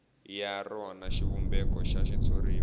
ya rona xivumbeko xa xitshuriwa